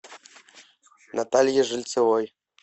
наталье жильцовой